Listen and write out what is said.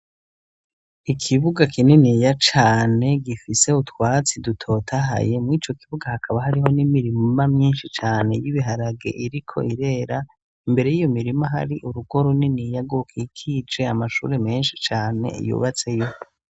Ikibuga kininiya cane gifise utwatsi dutotahaye, mw'ico kibuga hakaba hariho n'imirima myinshi cane y'ibiharage iriko irera, imbere y'iyo mirima hari urugo runiniya rwokikije amashure menshi cane yubatseyo.